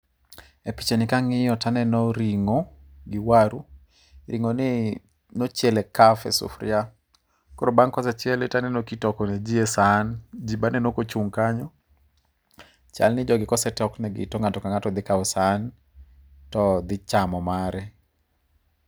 Epichani ka ang'iyo to aneno ring'o gi waru. Ring'o ni ne ochiele kaf e sufuria. Bang' kosechiele to aneno ka itoko ne ji e san. Ji be aneno kochung' kany. Chalni jogi kosetoknegi to ng'ato ka ng'ato dhi kawo san to dhin chamo mare.